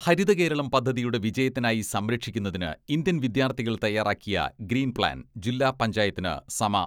ഹരിത കേരളം പദ്ധതിയുടെ വിജയത്തിനായി സംരക്ഷിക്കുന്നതിന് ഇന്ത്യൻ വിദ്യാർത്ഥികൾ തയ്യാറാക്കിയ ഗ്രീൻ പ്ലാൻ ജില്ലാ പഞ്ചായത്തിന് സമ